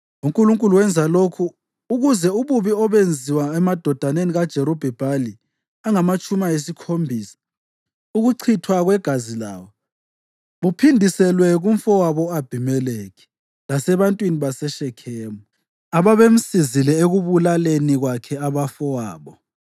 UNkulunkulu wenza lokhu ukuze ububi obenziwa emadodaneni kaJerubhi-Bhali angamatshumi ayisikhombisa, ukuchithwa kwegazi lawo, buphindiselwe kumfowabo u-Abhimelekhi lasebantwini baseShekhemu, ababemsizile ekubulaleni kwakhe abafowabo.